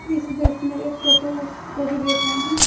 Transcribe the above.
इस दृश्य में एक टोटो को भी देख रहे हैं।